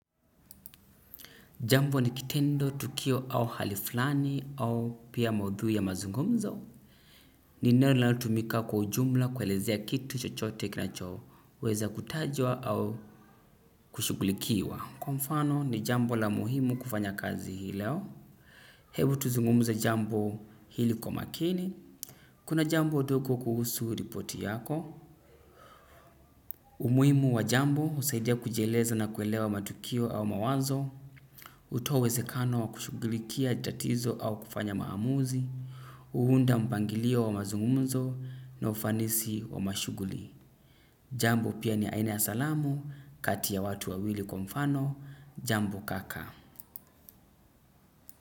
Jambo ni kitendo tukio au hali fulani au pia maudhui ya mazungumzo. Ni neno linalotumika kwa ujumla kuelezea kitu chochote kinacho. Weza kutajwa au kushughulikiwa. Kwa mfano ni jambo la muhimu kufanya kazi hii leo. Hebu tuzungumze jambo hili kwa makini. Kuna jambo dogo kuhusu ripoti yako. Umuhimu wa jambo husaidia kujieleza na kuelewa matukio au mawazo. Hutoa uwezekano wa kushughulikia tatizo au kufanya maamuzi, huunda mpangilio wa mazungumzo na ufanisi wa mashughuli. Jambo pia ni aina ya salamu, kati ya watu wawili kwa mfano, jambo kaka.